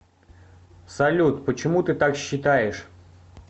салют почему ты так считаешь